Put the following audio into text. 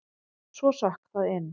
Svo sökk það inn.